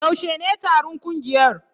Yaushe ne taron ƙungiyar?